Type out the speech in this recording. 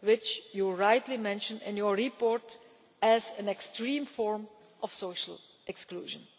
which you rightly mention in your report as an extreme form of social exclusion.